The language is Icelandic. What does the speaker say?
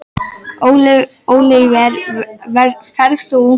Ólíver, ferð þú með okkur á laugardaginn?